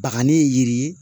Bakanni yiri